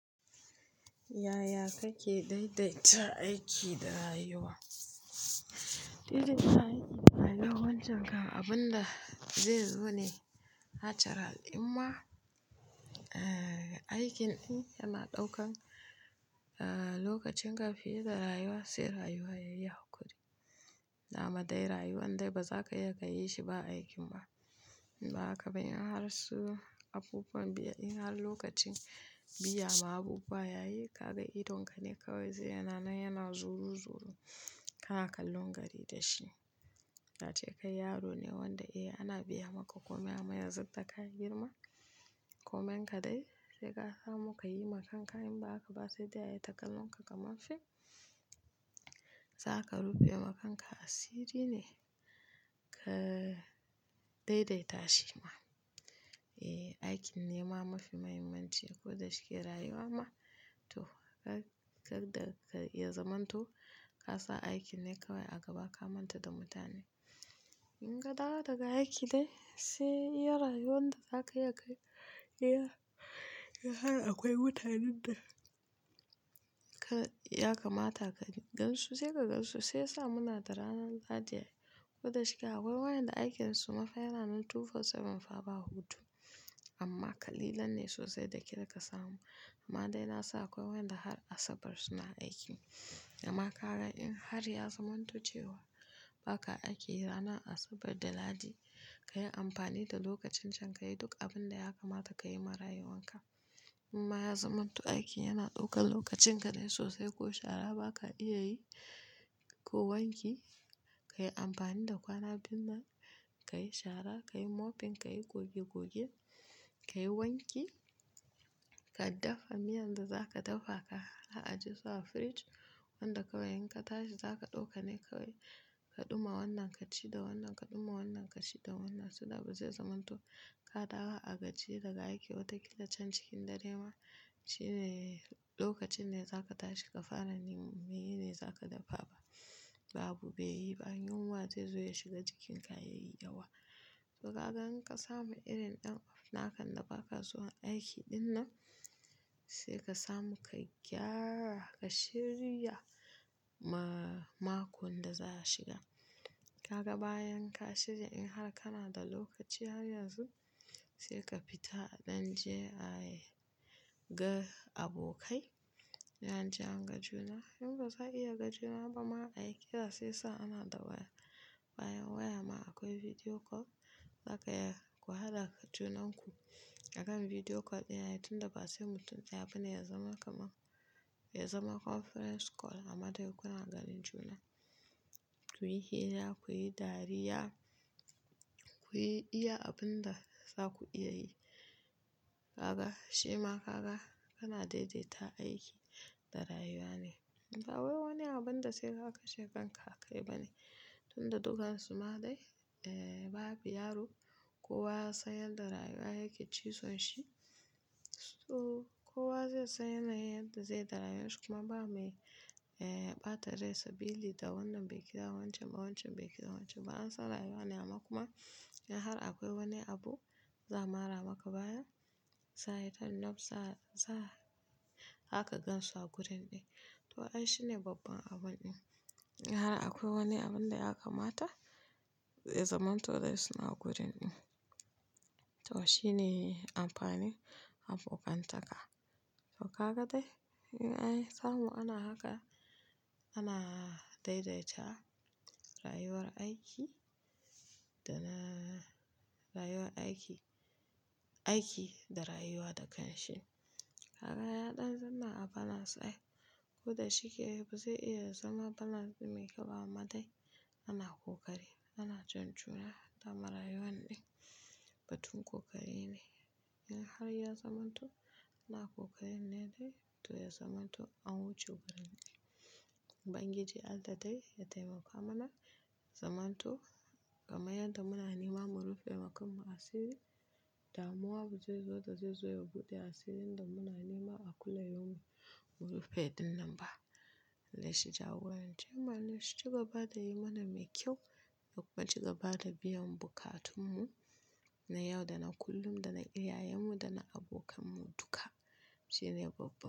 Yaya kake daidaita aiki da rayuwa? Idan kayi aiki ma ya wancan kam abunda zai zo ne, hachara al'umma, eh, aikin ɗin yana ɗaukan, eh, lokacin ka fiye da rayuwa, sai rayuwa yayi haƙuri. Dama dai rayuwan dai bazaka iya ka yi shi ba aikin ba. In ba haka ba in har su abubuwan biya, in har lokacin biya ma abubuwa yayi, kaga idonka ne kawai zai yana nan yana zuru-zuru kana kallon gari da shi. Kace kai yaro ne wanda eh ana biya maka komai, amma yanzu da ka girma, koman ka dai sai ka samu ka yi ma kanka in ba haka ba sai dai ayita kallon ka kamar fim. Zaka rufe ma kanka asiri ne ka daidaita shi ma. Eh, aikin ne ma mafi mahimmanci, ko da shike rayuwa ma, to, kada ka iya zamanto ka sa aikin ne kawai a gaba ka manta da mutane. In ka dawo daga aiki dai, sai iya rayuwan da zaka iya ka iya, in har akwai mutanen da ka, ya kamata ka gan su sai ka gan su, sai sa muna da ranan Lahadi ai, ko da shike akwai waƴanda aikinsu mafa yana nan 24/7 fa ba hutu. Amma ƙalilan ne sosai da ke da ka samu. Amma dai nasan akwai waƴanda har Asabar suna aiki. Amma ka ga in har ya zamanto cewa baka aiki ranan Asabar da Lahadi, ka yi amfani da lokacin can ka yi duk abunda ya kamata ka yi ma rayuwan ka. In ma ya zamanto aiki yana ɗaukan lokacin ka dai sosai ko shara ba ka iya yi, ko wanki. Ka yi amfani da kwana biyun nan, ka yi shara, ka yi mopping, ka yi goge-goge, ka yi wanki, ka daffa miyan da za ka daffa ka ajiye su a fridge, wanda kawai in ka tashi za ka ɗauka ne kawai, ka ɗuma wannan ka ci da wannan, ka ɗuma wannan ka ci da wannan. So that ba zai zamanto ka dawo a gajiye daga aiki wata ƙila can cikin dare ma. Shi ne lokacin ne za ka tashi ka fara neman meye ne za ka daffa ba. Babu bai yi ba. Yunwa zai zo ya shiga jikin ka yayi yawa. To ka ga in ka samu irin ɗan off na kan da baka zuwan aiki ɗin nan sai ka samu ka gyara, ka shirya ma makon da za'a shiga. Kaga bayan ka shirya, in har kana da lokaci har yanzu sai ka fita a ɗan je ayi-ga abokai. In an je an ga juna. In ba za'a iya ga juna ba ma ai kira sai sa ana da waya. Bayan waya ma akwai video call. Za ka iya ku haɗaka junanku akan video call ɗaya, tunda ba sai mutum ɗaya bane ya zama kamar ya zama conference call amma dai kuna ganin juna. Ku yi hira, ku yi dariya, ku yi iya abunda zaku iya yi. Kaga, shima kaga kana daidaita aiki da rayuwa ne. Akwai wani abunda sai ka kashe kanka ka akai bane, tunda dukansu ma dai, eh, babu yaro kowa ya san yanda rayuwa yake cizon shi. To, kowa zai san yanayin yadda zai da rayuwan shi kuma ba mai, eh, ɓata rai sabili da wannan bai kira wancan ba, wancan bai kira wancan ba. An san rayuwa ne, amma kuma in har akwai wani abu za'a mara maka baya, sai aitan naf sa za zaka gansu a gurin ɗin. To ai shine babban abun ɗin. In har akwai wani abunda ya kamata ya zamanto dai suna gurin ɗin. To shine amfanin abokantaka. To kaga dai in ai samu ana haka, ana daidaita rayuwar aiki da na rayuwar aiki, aiki da rayuwa da kanshin. Kaga ya ɗan zanna a balance ai, ko da shike ba zai iya zama balance mai ƙyau ba amma dai ana ƙoƙari. Ana jan juna, hatta ma rayuwan ɗin batun ƙoƙari ne. In har ya zamanto ana kokarin ne dai to ya zamanto an wuce gurin ɗin. Ubangiji Allah dai ya taimaka mana, ya zamanto kamar yadda muna nema mu rufe ma kan mu asiri, da muwa ba zai zo da zai zo ya buɗe asirin da muna nema a kulla yaumin mu rufe ɗin nan ba. Allah shi jagoran ce mu, Allah shi cigaba da yi mana mai kyau, da kuma ci gaba da biyan bukatun mu na yau da na kullum da na iyayen mu da na abokan mu duka. Shi ne babba.